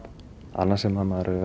annað sem maður hefur